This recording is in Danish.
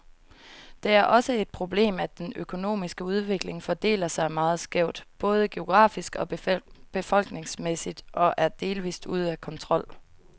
Det er også et problemet, at den økonomiske udvikling fordeler sig meget skævt, både geografisk og befolkningsmæssigt, og er delvist ude af kontrol.